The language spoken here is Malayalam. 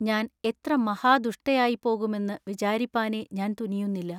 ഞാൻ എത്ര മഹാ ദുഷ്ടയായിപ്പോകുമെന്നു വിചാരിപ്പാനെ ഞാൻ തുനിയുന്നില്ല.